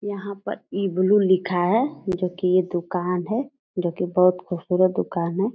यहां पर इबलु लिखा है जो की ये दुकान है जो की बहुत खूबसूरत दुकान है।